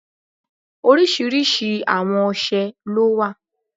Oriṣiriṣi awon ọṣẹ lo wa